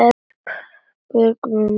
Björgin morandi af fuglum.